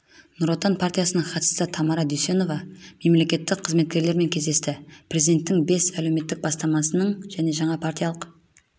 нұр отан партиясының хатшысы тамара дүйсеновамемлекеттік қызметкерлермен кездесті президенттің бес әлеуметтік бастамасының және жаңа партиялық